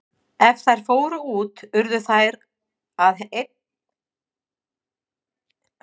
Ef þær fóru út urðu þær að einnig að hylja sig.